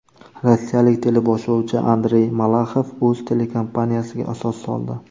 Rossiyalik teleboshlovchi Andrey Malaxov o‘z telekompaniyasiga asos soldi.